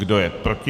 Kdo je proti?